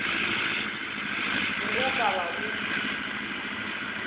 be o ka ba o